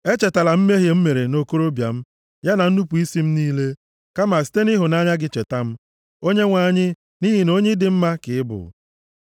Echetala mmehie m mere nʼokorobịa m, ya na nnupu isi m niile. Kama site nʼịhụnanya gị cheta m, Onyenwe anyị, nʼihi na onye dị mma ka ị bụ.